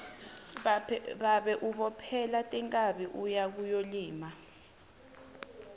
babe ubophele tinkhabi uye kuyolima